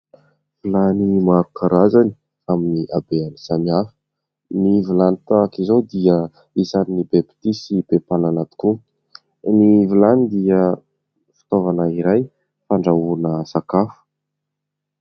Vilany maro karazany amin'ny abehany samy hafa. Ny vilany tahaka izao dia isan'ny be mpitia sy be mpanana tokoa. Ny vilany dia fitaovana iray fandrahoana sakafo.